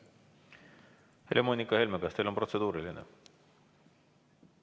Helle-Moonika Helme, kas teil on protseduuriline?